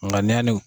Nga n'a